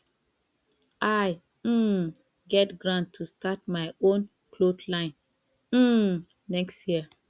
i um get grant to start my own cloth line um next year